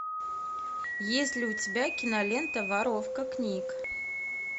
есть ли у тебя кинолента воровка книг